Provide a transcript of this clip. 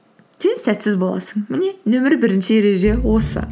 сен сәтсіз боласың міне нөмір бірінші ереже осы